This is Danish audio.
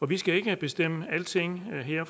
vi skal ikke bestemme alting her